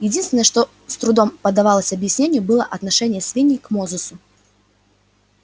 единственное что с трудом поддавалось объяснению было отношение свиней к мозусу